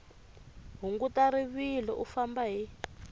hunguta rivilo u famba hi